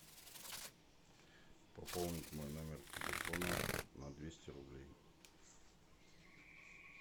пополнить мой номер телефона на двести рублей